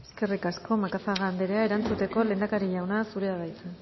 eskerrik asko macazaga anderea erantzuteko lehendakari jauna zurea da hitza